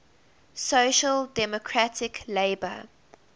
social democratic labour